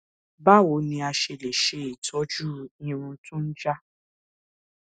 báwo ni a ṣe lè se itoju irun to n ja